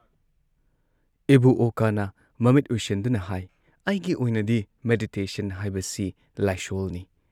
ꯏꯕꯨꯨ ꯑꯣꯀꯥꯅ ꯃꯃꯤꯠ ꯎꯏꯁꯤꯟꯗꯨꯅ ꯍꯥꯏ "ꯑꯩꯒꯤ ꯑꯣꯏꯅꯗꯤ ꯃꯦꯗꯤꯇꯦꯁꯟ ꯍꯥꯏꯕꯁꯤ ꯂꯥꯏꯁꯣꯜꯅꯤ" ꯫